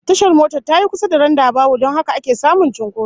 Tashar motar tayi kusa da randabawul don haka ake samun cinkoso